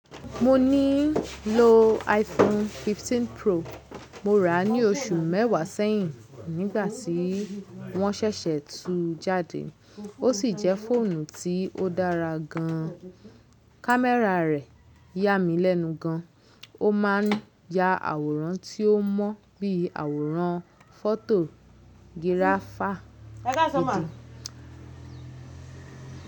Mo níí lo iPhone 15 Pro mo rà ní oṣù mẹ́wàá sẹ́yìn nígbà tí wọ́n ṣẹ̀ṣẹ̀ tu jáde. Ó sì jẹ́ fóònù tí ó dára gan. Kámẹ́rà rẹ̀ yà mí lẹ́nu gan, ó máa ń ya àwòrán tí ó mọ́ bí i àwòrán fọ́tò giraafà méjì.